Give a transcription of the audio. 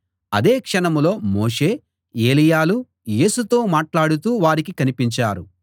అదే క్షణంలో మోషే ఏలీయాలు యేసుతో మాట్లాడుతూ వారికి కనిపించారు